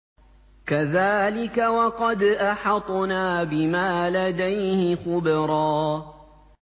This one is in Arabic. كَذَٰلِكَ وَقَدْ أَحَطْنَا بِمَا لَدَيْهِ خُبْرًا